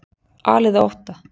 Alið á ótta